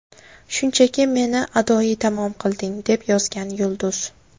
Shunchaki meni adoyi tamom qilding”, − deb yozgan yulduz.